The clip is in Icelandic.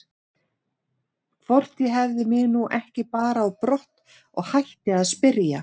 Hvort ég hefði mig nú ekki bara á brott og hætti að spyrja.